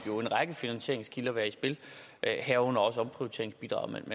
en række finansieringskilder være i spil herunder også omprioriteringsbidraget men